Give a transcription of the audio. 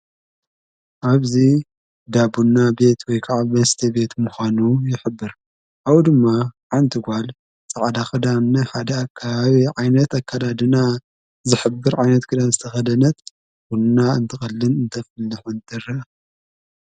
ኣብዚ ዳቡና ቤት ወይ ከዓ መስተ ቤት ምዃኑ ይሕብር። ካብኡ ድማ ሓንቲ ጓል ፃዕዳ ኽዳን ናይ ሓደ ከባቢ ዓይነት ኣካላድና ዝሕብር ዓይነት ክዳን ዝተኸደነት ቡና እንትቐልን እንተፍልሕን ትረአ።